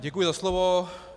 Děkuji za slovo.